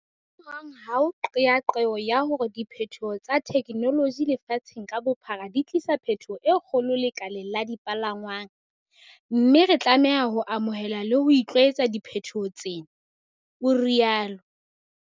"Ho hang ha ho qeaqeo ya hore diphethoho tsa thekenoloji lefatsheng ka bophara di tlisa phethoho e kgolo lekaleng la dipalangwang, mme re tlame ha ho amohela le ho itlwaetsa diphethoho tsena," o rialo.